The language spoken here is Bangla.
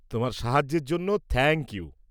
তোমার সাহায্যের জন্য থ্যাংক ইউ।